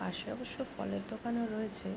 পাশে অবশ্য ফলের দোকান ও রয়েছে।